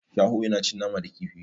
Shaho yana cin nama da kifi.